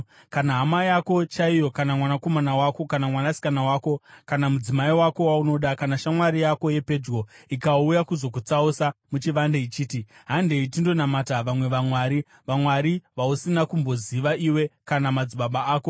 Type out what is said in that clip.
Kana hama yako chaiyo, kana mwanakomana wako kana mwanasikana wako, kana mudzimai wako waunoda, kana shamwari yako yepedyo ikauya kuzokutsausa muchivande, ichiti, “Handei tindonamata vamwe vamwari,” (vamwari vausina kumboziva iwe kana madzibaba ako,